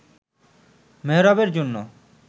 মেহেরাবের জন্য